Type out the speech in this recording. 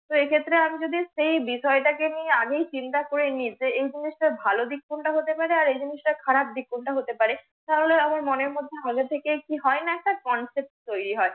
তো এ ক্ষেত্রে আমি যদি সে বিষয়টা কে নিয়ে আগেই চিন্তা করে নিই যে এ জিনিসটার ভালো দিক কোনটা হতে পারে, এ জিনিসটার খারাপ দিক কোনটা হতে পারে তাহলে আমার মনের মধ্যে আগে থেকেই কি হয় না একটা CONCEPT তৈরি হয়।